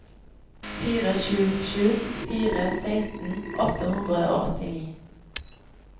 fire sju sju fire seksten åtte hundre og åttini